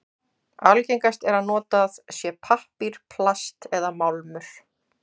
Algengast er að notað sé pappír, plast eða málmur.